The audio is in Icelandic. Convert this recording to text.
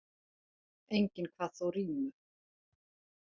Enginn kvað þó rímu.